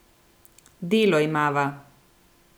Delo imava.